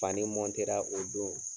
Fani o don